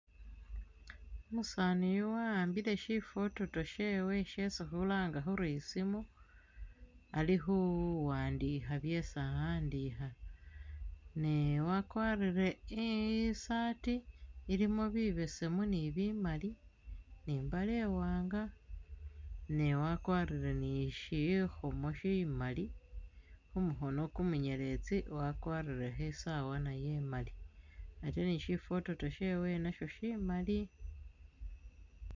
Umusaani uyu wa'ambile shifototo shewe shesi khulanga khuri i simu ali khu wandikha byesi a'andikha ne wakwarire i saati ilimo bibesemu ni bimali ni imbale iwanga ne wakwarire ni shikhomo shimali khu mukhono ku munyeletsi wakwarirekho isaawa nayo imali ate ni shifototo shewe nasho shimali.